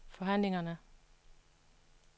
forhandlingerne